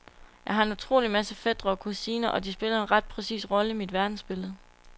Jeg har en utrolig masse fætre og kusiner, og de spiller en ret præcis rolle i mit verdensbillede.